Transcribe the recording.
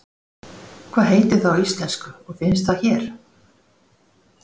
Hvað heitir það á íslensku og finnst það hér?